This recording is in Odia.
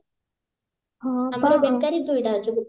ଆମର ବେକାରୀ ଦୁଇଟା ଅଛି